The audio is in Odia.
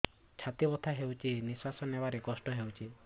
ଛାତି ବଥା ହଉଚି ନିଶ୍ୱାସ ନେବାରେ କଷ୍ଟ ହଉଚି